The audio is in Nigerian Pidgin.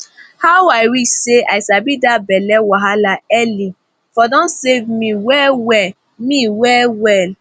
ah i wish say i sabi that belly wahala early for don save me well well me well well